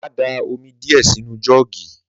Màá da òmi diẹ sinu jọ̀gí.